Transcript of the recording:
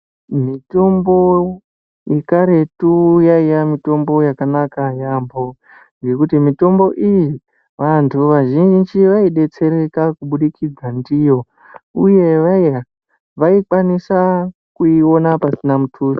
Mitombo yekaretu yaiya mitombo yakanaka yaambho ngekuti mitombo iyi, vantu vazhinji veidetsereka kubudikidza ndiyo uye vaikwanisa kuiona pasina mutuso.